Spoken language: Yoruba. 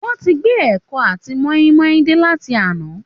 Wọ́n ti gbé ẹ̀kọ àti mọ́ínmọ́ín dé láti àná